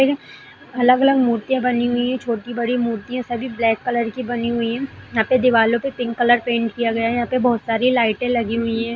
अलग-अलग मूर्तियां बनी हुई है छोटी-बड़ी मूर्तियां सभी ब्लैक कलर की बनी हुई है यहां पे दीवालो पे पिंक कलर पेंट किया गया है यहां पे बहुत सारी लाइटे लगी हुई है।